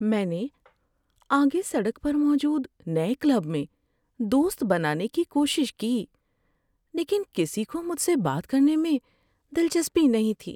میں نے آگے سڑک پر موجود نئے کلب میں دوست بنانے کی کوشش کی، لیکن کسی کو مجھ سے بات کرنے میں دلچسپی نہیں تھی۔